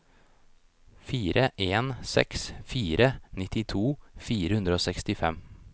fire en seks fire nittito fire hundre og sekstifem